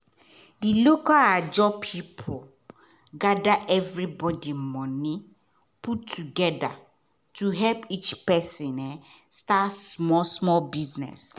di local ajo group gather everybody moni put together to help each person start small-small business.